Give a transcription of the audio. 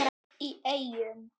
í Eyjum.